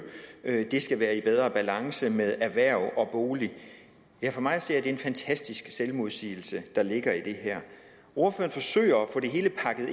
skal være i bedre balance med erhverv og bolig for mig at se er det en fantastisk selvmodsigelse der ligger i det her ordføreren forsøger